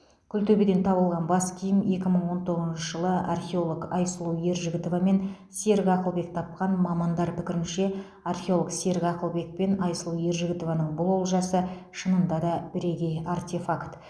күлтөбеден табылған бас киім екі мың он тоғызыншы жылы археолог айсұлу ержігітова мен серік ақылбек тапқан мамандар пікірінше археолог серік ақылбек пен айсұлу ержігітованың бұл олжасы шынында да біргей артефакт